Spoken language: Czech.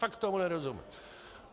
Fakt tomu nerozumím!